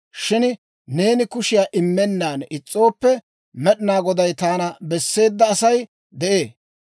Shin neeni kushiyaa immennan is's'ooppe, Med'inaa Goday taana besseedda sas'ay de'ee.